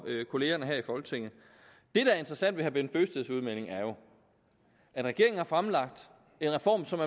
kollegerne her i folketinget det der er interessant ved herre bent bøgsteds udmelding er jo at regeringen har fremlagt en reform som